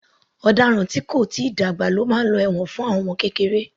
Ọ̀daràn tí kò tíì dàgbà máa lọ ẹ̀wọ̀n fún àwọn ọmọ kékeré